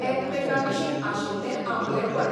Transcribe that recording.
एकामेकां विशीं आशिल्ले आपलेपण.